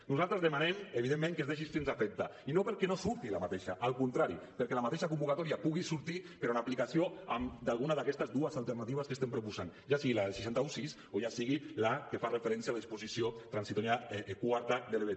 nosaltres demanem evidentment que es deixi sense efecte i no perquè no surti al contrari perquè la mateixa convocatòria pugui sortir però en aplicació d’alguna d’aquestes dues alternatives que estem proposant ja sigui la del sis cents i setze o ja sigui la que fa referència a la disposició transitòria quarta de l’ebep